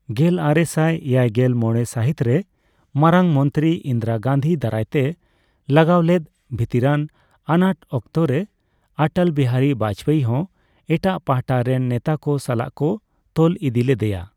ᱜᱮᱞᱟᱨᱮᱥᱟᱭ ᱮᱭᱟᱭᱜᱮᱞ ᱢᱚᱲᱮ ᱥᱟᱦᱤᱛ ᱨᱮ ᱢᱟᱨᱟᱝ ᱢᱚᱱᱛᱚᱨᱤ ᱤᱱᱫᱽᱨᱟᱹ ᱜᱟᱱᱫᱷᱤ ᱫᱟᱨᱟᱭ ᱛᱮ ᱞᱟᱜᱟᱣ ᱞᱮᱫ ᱵᱷᱤᱛᱤᱨᱟᱱ ᱟᱱᱟᱴᱚᱠᱛᱚ ᱨᱮ ᱚᱴᱚᱞ ᱵᱤᱦᱟᱨᱤ ᱵᱟᱡᱯᱮᱭᱤ ᱦᱚᱸ ᱮᱴᱟᱜ ᱯᱟᱦᱴᱟ ᱨᱮᱱ ᱱᱮᱛᱟᱠᱚ ᱥᱟᱞᱟᱜ ᱠᱚ ᱛᱚᱞ ᱤᱫᱤ ᱞᱮᱫᱮᱭᱟ ᱾